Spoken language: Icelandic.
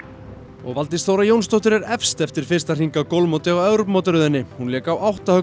og Valdís Þóra Jónsdóttir er efst eftir fyrsta hring á golfmóti á Evrópumótaröðinni hún lék á átta höggum